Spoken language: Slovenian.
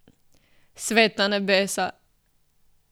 Sveta nebesa!